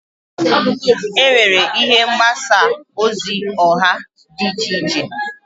Enwere ihe mgbasa ozi oha di iche iche.